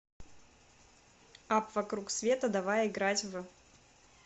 апп вокруг света давай играть в